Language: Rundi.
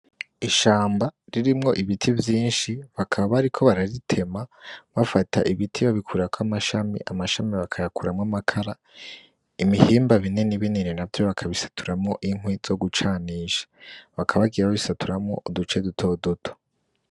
Ishamba ririmwo ibiti vyinshi bakaba bariko bararitema bafata ibiti babikurako amashami, amashami bakayakuramwo amakara ibihimba binini binini navyo bakabisaturamwo inkwi zo gucanisha bakaba bagiye babisaturamwo uduce duto duto.